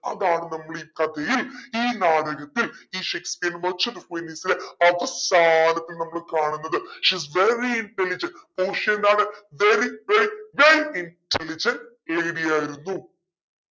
അതാണ് നമ്മളീ കഥയിൽ ഈ നാടകത്തിൽ ഈ ഷേക്‌സ്‌പിയറിന്റെ merchant of വെനീസിലെ അവസാനത്തെ നമ്മൾ കാണുന്നത്. she is very intelligent പോഷിയ എന്താണ് very very very intelligent lady ആയിരുന്നു